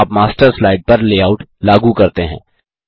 जब आप master slide पर लेआउट लागू करते हैं